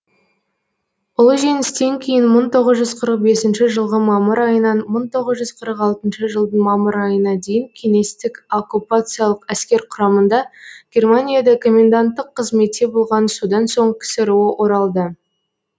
ұлы жеңістен кейін мың тоғыз жүз қырық бесінші жылғы мамыр айынан мың тоғыз жүз қырық алтыншы жылдың мамыр айына дейін кеңестік оккупациялық әскер құрамында германияда коменданттық қызметте болған содан соң ксро оралды